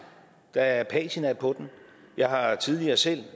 der er patina på den jeg har tidligere selv